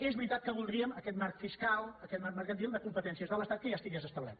és veritat que voldríem que aquest marc fiscal aquest marc mercantil de competències de l’estat ja estigués establert